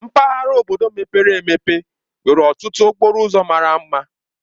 Mpaghara obodo mepere emepe nwere ọtụtụ okporo ụzọ mara mma.